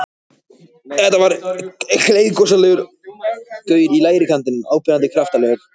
Þetta var gleiðgosalegur gaur í lægri kantinum, áberandi kraftalegur.